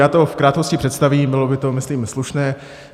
Já to v krátkosti představím, bylo by to, myslím, slušné.